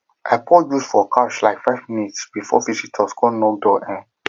i pour juice for couch um five minutes before visitors knock door um